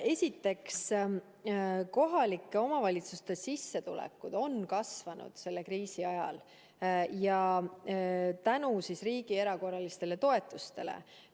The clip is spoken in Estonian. Esiteks, kohalike omavalitsuste sissetulekud on kasvanud selle kriisi ajal tänu riigi erakorralistele toetustele.